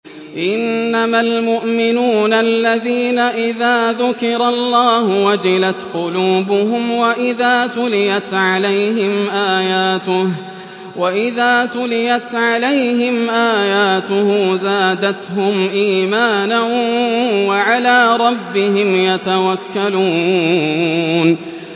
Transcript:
إِنَّمَا الْمُؤْمِنُونَ الَّذِينَ إِذَا ذُكِرَ اللَّهُ وَجِلَتْ قُلُوبُهُمْ وَإِذَا تُلِيَتْ عَلَيْهِمْ آيَاتُهُ زَادَتْهُمْ إِيمَانًا وَعَلَىٰ رَبِّهِمْ يَتَوَكَّلُونَ